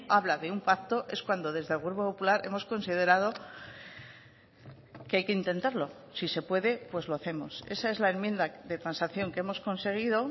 habla de un pacto es cuando desde el grupo popular hemos considerado que hay que intentarlo si se puede pues lo hacemos esa es la enmienda de transacción que hemos conseguido